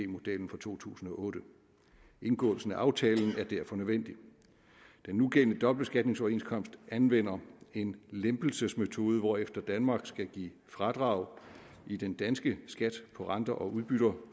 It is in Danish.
modellen fra to tusind og otte indgåelsen af aftalen er derfor nødvendig den nugældende dobbeltbeskatningsoverenskomst anvender en lempelsesmetode hvorefter danmark skal give fradrag i den danske skat på renter og udbytter